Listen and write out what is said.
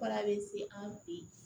Baara bɛ se an fɛ yen